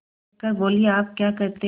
देख कर बोलीआप क्या कहते हैं